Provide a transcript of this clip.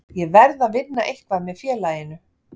Ég verð að vinna eitthvað með félaginu.